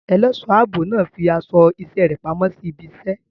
Ẹlẹ́ṣọ̀ ààbò náà fi aṣọ iṣẹ́ rẹ̀ pamọ́ sí ibi iṣẹ́.